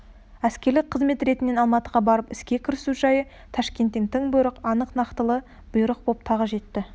әскерлік қызмет ретінен алматыға барып іске кірісу жайы ташкенттен тың бұйрық анық нақтылы бұйрық боп тағы жетті